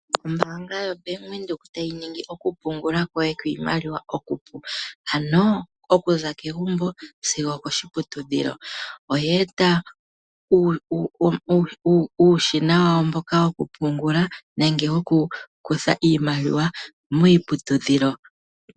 Ombaanga ya Bank Windhoek tayi ningi okupungula kwoye kwiimaliwa okupu, ano okuza kegumbo sigo okoshiputudhilo, ano oye eta uushina wawo mboka wokupungula nenge woku kutha iimaliwa miiputudhilo